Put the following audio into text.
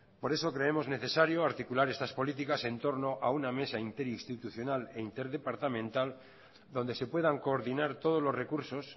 por eso creemos necesario articular estas políticas en torno a una mesa interinstitucional e interdepartamental donde se puedan coordinar todos los recursos